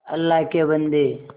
अल्लाह के बन्दे